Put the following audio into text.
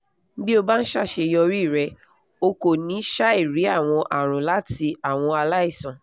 bí o bá ń ṣàṣeyọrí rẹ̀ o kò ní ṣàìrí àwọn àrùn láti àwọn aláìsàn